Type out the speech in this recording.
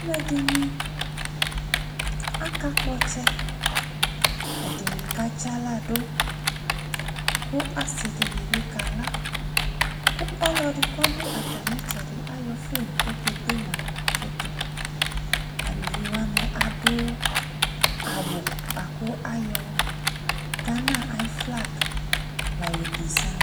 Aluɛde aka kpɔ ɔtsɛ, ɛdene katse ala do, ko ase de be kala, ko ulɔde ko do atame ɛtsɔde ayɔ fon ko ɔkɛde ma foto Avuviwa ne ad awu boa ko ayɔ Gana ayo flag la yɔ dezian